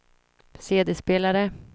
CD-spelare